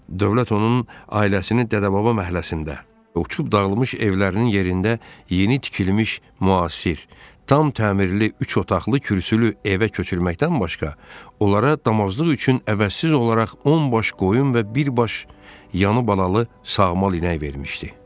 Dövlət onun ailəsini dədə-baba məhəlləsində uçub dağılmış evlərinin yerində yeni tikilmiş müasir, tam təmirli üç otaqlı kürsülü evə köçürməkdən başqa, onlara damazlıq üçün əvəzsiz olaraq on baş qoyun və bir baş yanı balalı sağmal inək vermişdi.